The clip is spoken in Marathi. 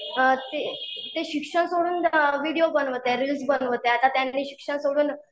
ते शिक्षण सोडून व्हिडीओ बनवत आहेत. रिल्स बनवत आहेत आता त्यांनी शिक्षण सोडून